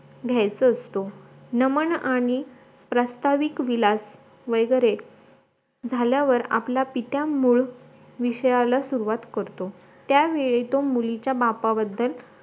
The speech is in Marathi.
घायचं असतो नमन आणी प्रस्ताविक विलास वैगेरे झाल्यावर आपल्या पित्यांमुळे विषयाला सुरुवात करतो त्या वेळेतून मुलीच्या बापाबद्दल